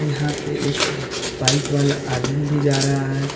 यहां पे एक बाइक वाला आदमी भी जा रहा है।